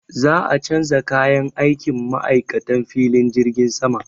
Za a canza kayan aikin ma'aikatan filin jirgin sama.